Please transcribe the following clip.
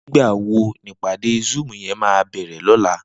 Nigbá wó ni ipàdé zúùm yèn má bèrè lòlá?